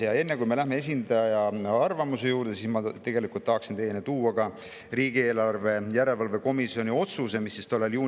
Aga enne, kui me läheme esindaja arvamuse juurde, ma tahaksin teieni tuua ka riigieelarve komisjoni otsuse, mis tollal, juunikuus tehti.